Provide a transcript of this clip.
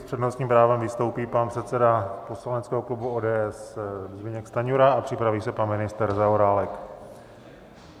S přednostním právem vystoupí pan předseda poslaneckého klubu ODS Zbyněk Stanjura a připraví se pan ministr Zaorálek.